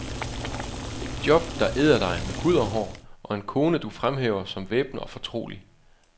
Et job, der æder dig med hud og hår, og en kone, du fremhæver som væbner og fortrolig.